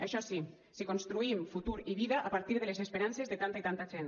això sí si construïm futur i vida a partir de les esperances de tanta i tanta gent